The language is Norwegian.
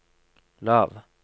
lav